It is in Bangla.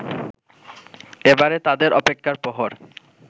এবারে তাদের অপেক্ষার প্রহর